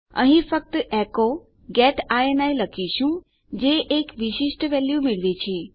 અહીં ફક્ત એચો ગેટ ઇની લખીશું જે એક વિશિષ્ટ વેલ્યુ મેળવે છે